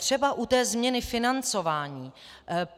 Třeba u té změny financování.